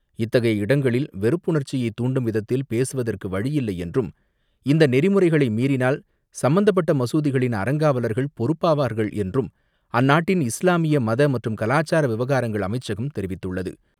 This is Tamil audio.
இத்தகைய இடங்களில் வெறுப்புணர்ச்சியை தூண்டும் விதத்தில் பேசுவதற்கு வழியில்லை என்றும், இந்த நெறிமுறைகளை மீறினால் சம்பந்தப்பட்ட மசூதிகளின் அறங்காவலர்கள் பொறுப்பாவார்கள் என்றும் அந்நாட்டின் இஸ்லாமிய மத மற்றும் கலாச்சார விவகாரங்கள் அமைச்சகம் தெரிவித்துள்ளது.